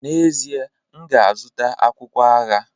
N'ezie, m ga-azụta akwụkwọ agha.